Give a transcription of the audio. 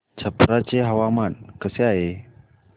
छप्रा चे हवामान कसे आहे